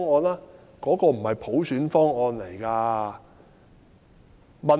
那個是普選方案嗎？